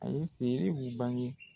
A ye feerebu bange